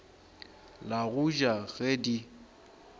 la go ja ge di